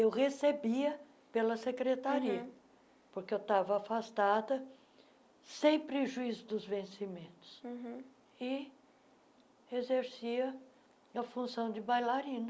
Eu recebia pela Secretaria, uhum porque eu estava afastada, sem prejuízo dos vencimentos uhum, e exercia a função de bailarina.